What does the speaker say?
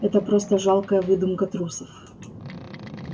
это просто жалкая выдумка трусов